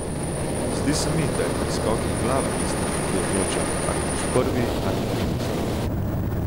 Zdi se mi, da je pri skokih glava tista, ki odloča, ali boš prvi ali trinajsti.